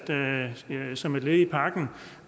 som en del af pakken